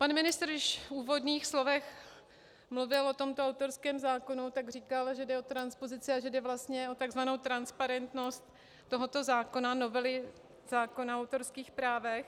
Pan ministr když v úvodních slovech mluvil o tomto autorském zákoně, tak říkal, že jde o transpozice a že jde vlastně o tzv. transparentnost tohoto zákona, novely zákona o autorských právech.